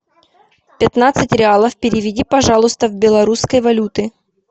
пятнадцать реалов переведи пожалуйста в белорусской валюты